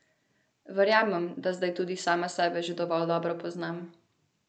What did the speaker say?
Verjamem, da zdaj tudi sama sebe že dovolj dobro poznam.